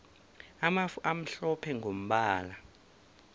amafu amhlophe mgombala